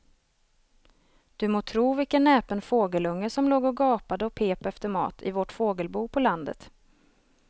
Du må tro vilken näpen fågelunge som låg och gapade och pep efter mat i vårt fågelbo på landet.